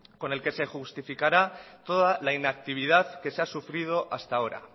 con el que se justificará toda la inactividad que se ha sufrido hasta ahora